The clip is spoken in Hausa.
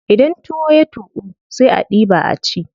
Idan tuwon ya tuƙu sai a diɓa a ci.